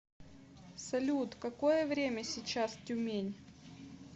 салют какое время сейчас тюмень